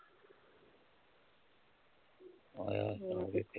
।